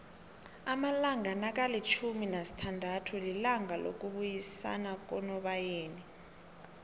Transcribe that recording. amalanga nakalifjhumi nasithandathu lilanga lokubuyisanakunobayeni